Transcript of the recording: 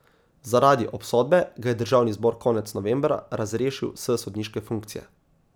Zaradi obsodbe ga je državni zbor konec novembra razrešil s sodniške funkcije.